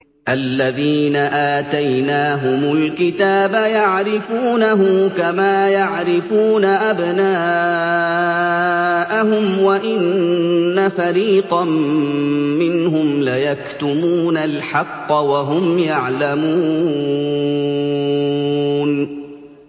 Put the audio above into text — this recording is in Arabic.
الَّذِينَ آتَيْنَاهُمُ الْكِتَابَ يَعْرِفُونَهُ كَمَا يَعْرِفُونَ أَبْنَاءَهُمْ ۖ وَإِنَّ فَرِيقًا مِّنْهُمْ لَيَكْتُمُونَ الْحَقَّ وَهُمْ يَعْلَمُونَ